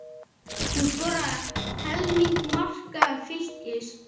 Hún skoraði helming marka Fylkis.